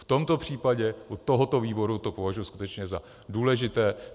V tomto případě u tohoto výboru to považuji skutečně za důležité.